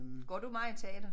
Går du meget i teatret?